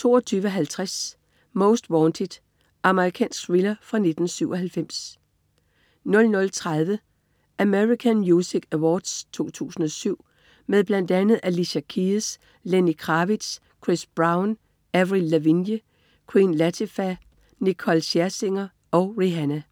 22.50 Most Wanted. Amerikansk thriller fra 1997 00.30 American Music Awards 2007. Med bl.a. Alicia Keys, Lenny Kravitz, Chris Brown, Avril Lavigne, Queen Latifah, Nicole Scherzinger og Rihana